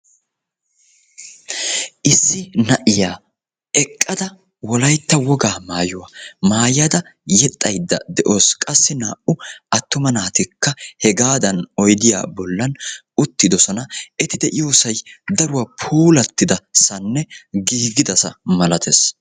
issi na"iya eqqada wolaytta woga maayuwa maayada yexxayda de"awsu qassi naa"u attuma naatikka issi daro puulatida sohuwani oydiya bollani uttidaba misatessi.